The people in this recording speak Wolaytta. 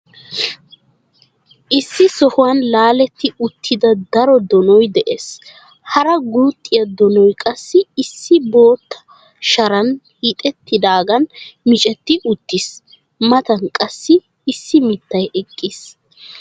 Issi sohuwan laaletti uttida daro donoy de'ees. Hara guxxiya donoy qassi issi bootta sharay hiixettidaagan miccetti uttiis. Matan qassi issi mittay eqqiis.